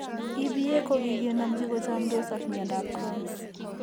EBA ko kikenomchi ko chomndos ak mnyandoap Crohn's.